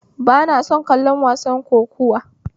Ba na son kallon wasar kokuwa